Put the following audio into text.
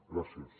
gràcies